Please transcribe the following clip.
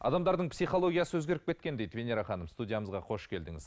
адамдардың психологиясы өзгеріп кеткен дейді венера ханым студиямызға қош келдіңіз